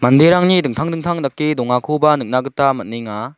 manderangni dingtang dingtang dake dongakoba nikna gita man·enga.